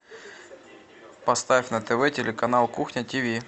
поставь на тв телеканал кухня тиви